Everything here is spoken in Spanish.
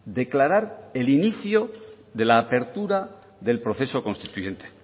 declarar el inicio de la apertura del proceso constituyente